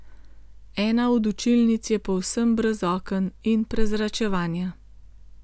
Ena od učilnic je povsem brez oken in prezračevanja.